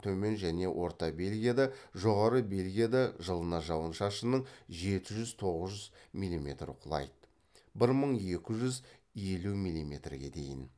төмен және орта бельгияда жоғары бельгияда жылына жауын шашынның жеті жүз тоғыз жүз милиметр құлайды бір мың екі жүз елу милиметрге дейін